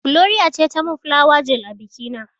Gloria ce za ta mun fulawa gel a biki na.